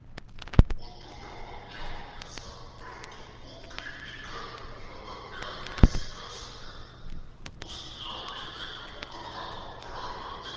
ਉਹ ਦੋਨੋ ਮੰਗਿਆ ਹੋਇਆ ਸਨ ਪ੍ਰੰਤੂ ਉਹ ਗਰੀਬੀ ਕਾਰਨ ਓਹਨਾ ਦਾ ਵਿਆਹ ਨੀ ਸੀ ਕਰ ਸਕਿਆ ਉਸ ਇਲਾਕੇ ਦੇ ਇਕ ਮੁਗ਼ਲ ਆਲਮ ਬੜਾ ਹੀ ਨਿਰ ਦਯਿ